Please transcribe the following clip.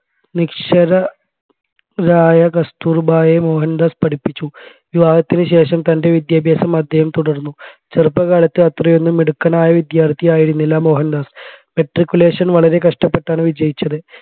നിക്ഷരരായ കസ്തൂർബായെ മോഹൻദാസ് പഠിപ്പിച്ചു വിവാഹത്തിന് ശേഷം തൻെറ വിദ്യാഭാസം അദ്ദേഹം തുടർന്നു ചെറുപ്പകാലത് അത്രയൊന്നും മിടുക്കനായ വിദ്യാർത്ഥിയായിരുന്നില്ല മോഹൻദാസ് matriculation വളരെ കഷ്ടപ്പെട്ടാണ് വിജയിച്ചത്